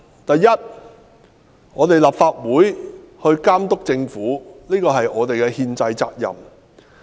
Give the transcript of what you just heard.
第一，監督政府是立法會的憲制責任。